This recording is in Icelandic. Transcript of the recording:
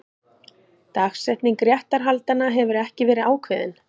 Dagsetning réttarhaldanna hefur ekki verið ákveðin